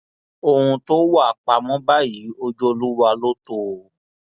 ohun tó wàá pamọ báyìí ojú olúwa ló tọ o o